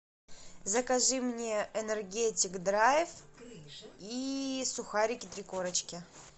закажи мне энергетик драйв и сухарики три корочки